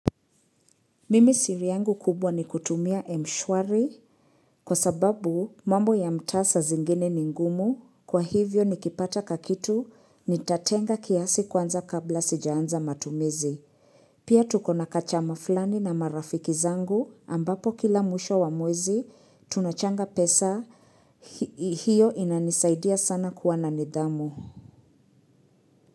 Mimi siri yangu kubwa ni kutumia M-shwari kwa sababu mambo ya mtasa zingine ni ngumu, kwa hivyo nikipata kakitu nitatenga kiasi kwanza kabla sijaanza matumizi. Pia tukona kachama fulani na marafiki zangu ambapo kila mwisho wa mwezi, tunachanga pesa hiyo inanisaidia sana kuwa na nidhamu.